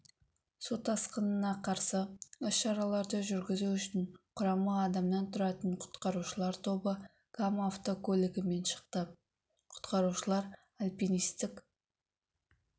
сутасқынына қарсы іс-шараларды жүргізу үшін құрамы адамнан тұратын құтқарушылар тобы кам автокөлігімен шықты құтқарушылар альпинистік